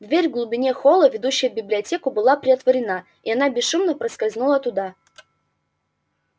дверь в глубине холла ведущая в библиотеку была приотворена и она бесшумно проскользнула туда